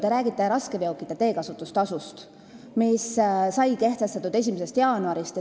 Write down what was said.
Te räägite raskeveokite teekasutustasust, mis sai kehtestatud 1. jaanuarist.